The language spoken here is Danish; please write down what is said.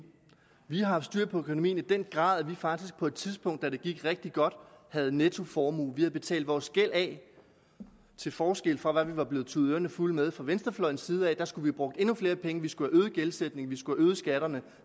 vi har haft styr på økonomien i den grad at vi faktisk på et tidspunkt da det gik rigtig godt havde nettoformue vi havde betalt vores gæld af til forskel fra hvad vi var blevet tudet ørerne fulde af fra venstrefløjens side vi skulle have brugt endnu flere penge vi skulle have øget gældsætningen vi skulle have øget skatterne